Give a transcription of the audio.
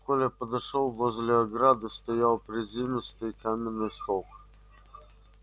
коля подошёл возле ограды стоял приземистый каменный столб